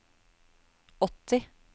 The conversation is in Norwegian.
åtti